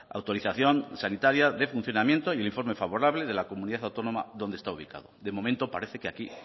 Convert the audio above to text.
autorización sanitaria de funcionamiento y el informe favorable de la comunidad autónoma donde está ubicado de momento parece que aquí